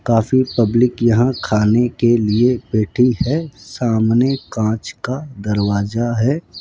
काफी पब्लिक यहां खाने के लिए बैठी है सामने कांच का दरवाजा है।